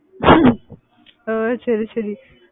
ஓஹ் சரி சரி